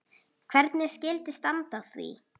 Hvernig skyldi standa á því?